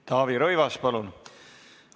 Taavi Rõivas, palun!